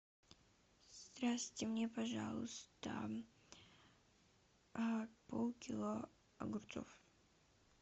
здравствуйте мне пожалуйста полкило огурцов